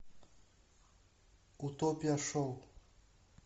утопия шоу